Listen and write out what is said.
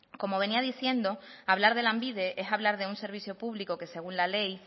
como venía diciendo hablar de lanbide es hablar de un servicio público que según la ley